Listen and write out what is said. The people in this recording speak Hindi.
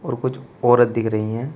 कुछ औरत दिख रही है।